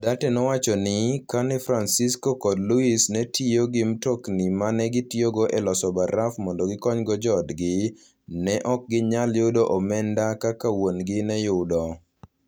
Duarte nowacho ni, kane Francisco kod Luis ne tiyo gi mtokni ma ne gijotiyogo e loso baraf mondo gikonygo joodgi, ne ok ginyal yudo omenda kaka wuon-gi ne yudo.